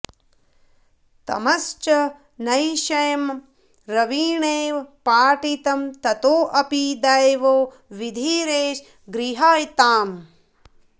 तमश्च नैशं रविणेव पाटितं ततोऽपि दैवो विधिरेष गृह्यताम्